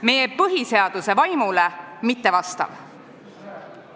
Meie põhiseaduse vaimule mittevastav.